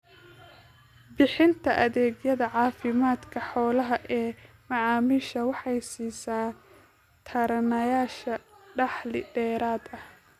Bixinta adeegyada caafimaadka xoolaha ee macaamiisha waxay siisaa taranayaasha dakhli dheeraad ah.